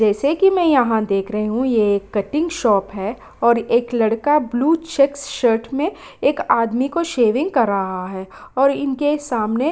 जैसे कि मैं यहाँ देख रही हूं ये एक कटिंग शॉप है और एक लड़का ब्लू चेक शर्ट में एक आदमी को सेविंग कर रहा है और इनके सामने --